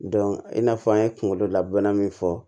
i n'a fɔ an ye kunkolo laban min fɔ